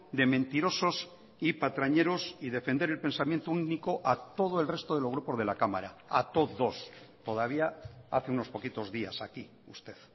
de mentirosos y patrañeros y defender el pensamiento único a todo el resto de los grupos de la cámara a todos todavía hace unos poquitos días aquí usted